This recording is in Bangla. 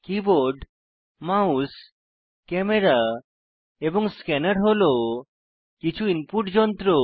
কীবোর্ড মাউস ক্যামেরা এবং স্ক্যানার হল কিছু ইনপুট যন্ত্র